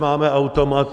Máme automat.